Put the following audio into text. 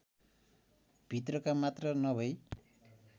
भित्रका मात्र नभै